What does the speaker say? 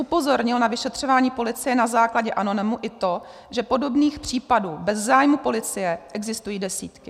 Upozornil na vyšetřování policie na základě anonymu i to, že podobných případů bez zájmu policie existují desítky.